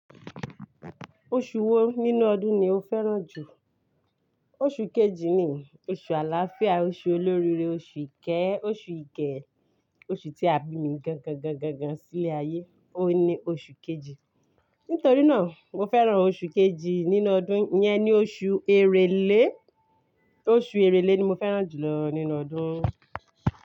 Oṣù wo nínú ọdún ni o fẹ́ràn jù? Oṣù kejì ni, oṣù àlàáfíà, oṣù olóríire, oṣù ìkẹ́, oṣù ìge, oṣù tí a bí mi gángangangangán sí ilé ayé, òun ni oṣù kejì. Nítorí náà, mo fẹ́ràn oṣù kejì nínú ọdún, yẹn ni oṣù Èrèlé, oṣù Èrèlé ni mo fẹ́ràn jù lọ nínú ọdún.